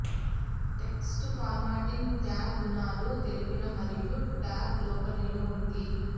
text formatting tag గుణాలు తెలిపిన మరియు టాగ్ లోపల నిల్వ ఉంది